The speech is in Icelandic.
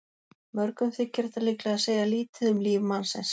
Mörgum þykir þetta líklega segja lítið um líf mannsins.